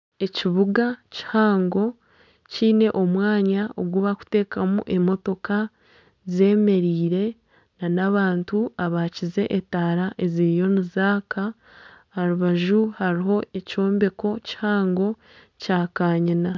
Ekibuga kihango kyiine omwanya ogubakutamu emotooka zemereire n'abantu abakiize etaara eziriyo nizaaka aha rubaju hariho ekyombeko kihango kya kanyina.